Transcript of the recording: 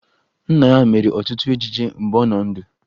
Nna ya mere ọtụtụ ejije mgbe ọ nọ ndụ